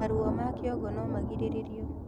Maruo ma kĩongo no magirĩrĩrio